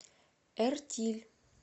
эртиль